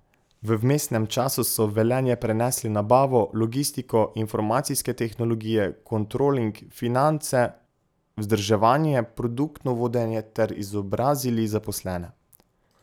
V vmesnem času so v Velenje prenesli nabavo, logistiko, informacijske tehnologije, kontroling, finance, vzdrževanje, produktno vodenje ter izobrazili zaposlene.